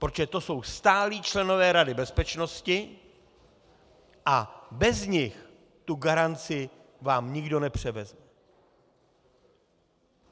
Protože to jsou stálí členové Rady bezpečnosti a bez nich tu garanci vám nikdo nepřevzeme.